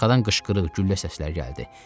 Arxadan qışqırıq, güllə səsləri gəldi.